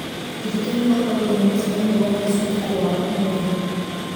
ndirikania ũhoro wĩgiĩ mũcemanio wa rũciũ ũtukũ wa ũmũthĩ